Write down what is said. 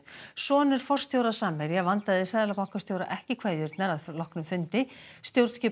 sonur forstjóra Samherja vandaði seðlabankastjóra ekki kveðjurnar að loknum fundi stjórnskipunar